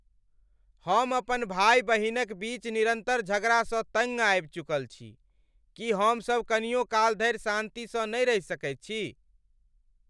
हम अपन भाय बहिनक बीच निरन्तर झगड़ासँ तङ्ग आबि चुकल छी। की हमसब कनियो काल धरि शान्तिसँ नहि रहि सकैत छी?